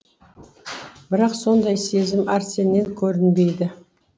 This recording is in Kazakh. бірақ сондай сезім арсеннен көрінбейді